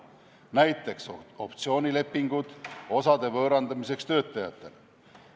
Näiteks, optsioonilepingud osade võõrandamiseks töötajatele.